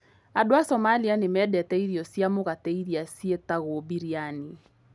Andũ a Somalia nĩ mendete irio cia mũgate iria cietagwo biryani.